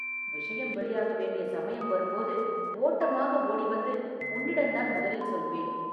விஷயம் வெளியாக வேண்டிய சமயம் வரும்போது, ஓட்டமாக ஓடி வந்து உன்னிடந்தான் முதலில் சொல்வேன்.